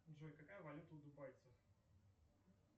джой какая валюта у дубайцев